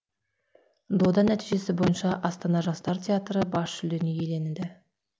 дода нәтижесі бойынша астана жастар театры бас жүлдені иеленді